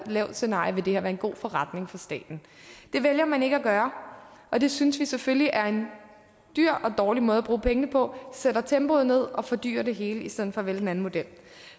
lavt scenarie vil det her være en god forretning for staten det vælger man ikke at gøre og det synes vi selvfølgelig er en dyr og dårlig måde at bruge pengene på sætter tempoet ned og fordyrer det hele i stedet for at vælge den anden model